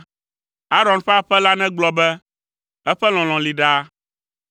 Aron ƒe aƒe la negblɔ be; “Eƒe lɔlɔ̃ li ɖaa.”